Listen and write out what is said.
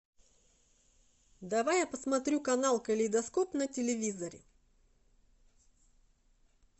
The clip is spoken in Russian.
давай я посмотрю канал калейдоскоп на телевизоре